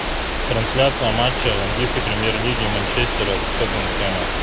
трансляция матча английской премьер лиги манчестера с тоттенхэмом